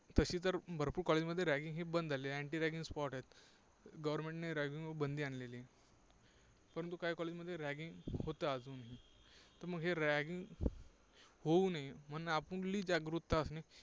तशी तर भरपूर college मध्ये ragging हे बंद झालेलं आहे. anti ragging squad आहेत. government ने ragging वर बंदी आणलेली आहे. परंतु काही college मध्ये ragging होत अजून. तर हे ragging होऊ नये म्हणून